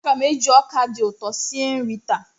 Aga m eji ọka dị ụtọ sie nri taa.